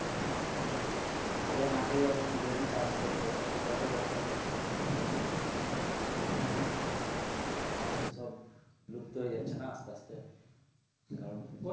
আগে মাঠে যখন জমি চাষ করতো তখন কত বক পাখি আসতো, হ্যাঁ, এখন তো সব লুপ্ত হয়ে যাচ্ছে না, আস্তে আস্তে, কারণ